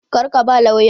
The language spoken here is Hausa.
Kar ka ba lauyan!